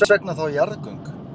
En hvers vegna þá jarðgöng?